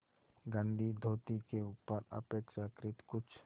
गंदी धोती के ऊपर अपेक्षाकृत कुछ